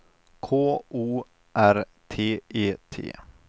K O R T E T